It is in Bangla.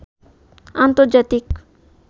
আন্তর্জাতিক